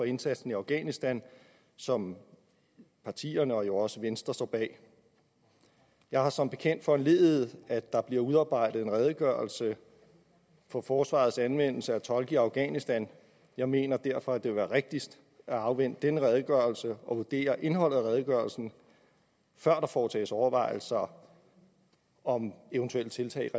indsatsen i afghanistan som partierne herunder jo også venstre står bag jeg har som bekendt foranlediget at der bliver udarbejdet en redegørelse om forsvarets anvendelse af tolke i afghanistan jeg mener derfor at det vil være rigtigst at afvente den redegørelse og vurdere indholdet af redegørelsen før der foretages overvejelser om eventuelle tiltag